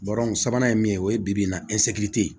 sabanan ye min ye o ye bi-bi in na